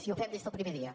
i ho fem des del primer dia